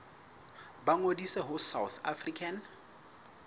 ba ngodise ho south african